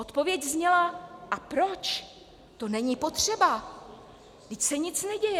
Odpověď zněla: A proč, to není potřeba, vždyť se nic neděje.